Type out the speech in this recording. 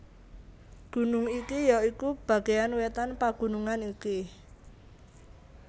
Gunung iki ya iku bagéan wétan pagunungan iki